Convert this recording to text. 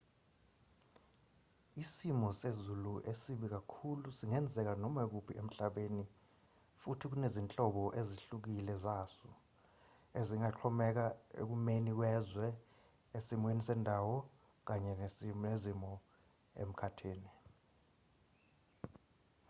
isimo sezulu esibi kakhulu singenzeka noma kuphi emhlabeni futhi kunezinhlobo ezihlukile zaso ezingaxhomeka ekumeni kwezwe esimweni sendawo kanye nezimo emkhathini